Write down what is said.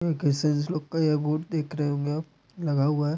ये गिसस लोग का ये गुड़ देख रहे होंगे आप लगा हुआ है।